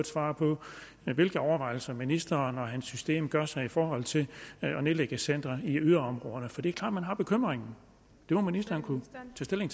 svar på hvilke overvejelser ministeren og hans system gør sig i forhold til at nedlægge centre i yderområderne for det er klart at man har bekymringen det må ministeren kunne tage stilling